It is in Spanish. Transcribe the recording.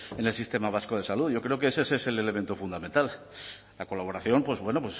en el sistema vasco de salud yo creo que ese es el elemento fundamental la colaboración pues bueno